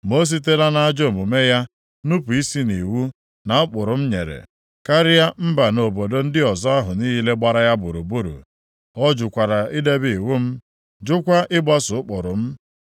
Ma o sitela nʼajọ omume ya, nupu isi nʼiwu na ụkpụrụ m nyere, karịa mba na obodo ndị ọzọ ahụ niile gbara ya gburugburu. Ọ jụkwara idebe iwu m, jụkwa ịgbaso ụkpụrụ m.